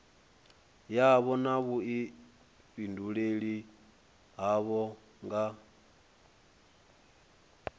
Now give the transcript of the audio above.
yavho na vhuifhinduleli havho nga